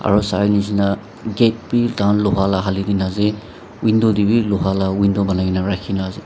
aro sanishina gate bi tahan loha la halikae na ase window tae bi loha la window banaikaena rakhina ase.